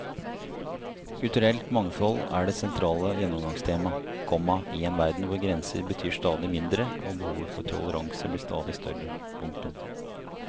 Kulturelt mangfold er det sentrale gjennomgangstema, komma i en verden hvor grenser betyr stadig mindre og behovet for toleranse blir stadig større. punktum